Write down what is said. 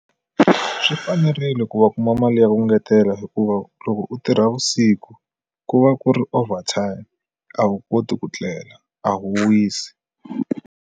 Swi fanerile ku va kuma mali ya ku ngetela hikuva loko u tirha vusiku ku va ku ri overtime a wu koti ku tlela a wu wisi.